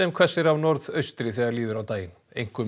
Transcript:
hvessir af norðaustri þegar líður á daginn einkum